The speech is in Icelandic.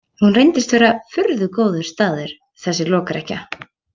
Hún reynist vera furðu góður staður, þessi lokrekkja.